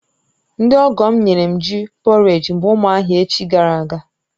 Ndị ọgọ̀ m nyere m ji pọréj mgbe ụmụahia echi gara aga